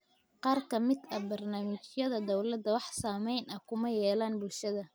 Qaar ka mid ah barnaamijyada dowladda wax saameyn ah kuma yeelan bulshada.